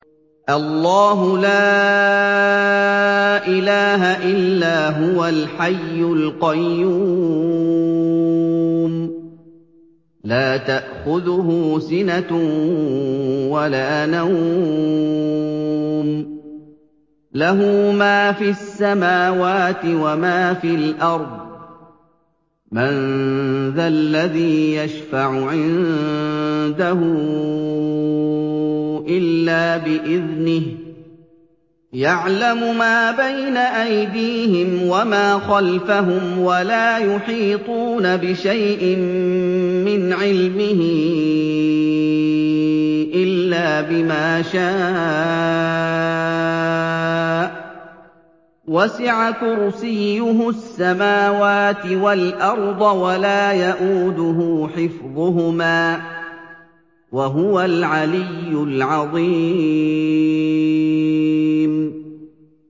اللَّهُ لَا إِلَٰهَ إِلَّا هُوَ الْحَيُّ الْقَيُّومُ ۚ لَا تَأْخُذُهُ سِنَةٌ وَلَا نَوْمٌ ۚ لَّهُ مَا فِي السَّمَاوَاتِ وَمَا فِي الْأَرْضِ ۗ مَن ذَا الَّذِي يَشْفَعُ عِندَهُ إِلَّا بِإِذْنِهِ ۚ يَعْلَمُ مَا بَيْنَ أَيْدِيهِمْ وَمَا خَلْفَهُمْ ۖ وَلَا يُحِيطُونَ بِشَيْءٍ مِّنْ عِلْمِهِ إِلَّا بِمَا شَاءَ ۚ وَسِعَ كُرْسِيُّهُ السَّمَاوَاتِ وَالْأَرْضَ ۖ وَلَا يَئُودُهُ حِفْظُهُمَا ۚ وَهُوَ الْعَلِيُّ الْعَظِيمُ